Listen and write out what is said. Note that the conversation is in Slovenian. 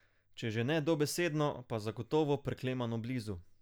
Če že ne dobesedno, pa zagotovo preklemano blizu.